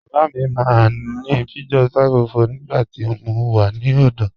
Baba mi maa ni Peugeot 504 nígbàtí mó wà ní ọdọ.